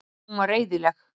Hún var reiðileg.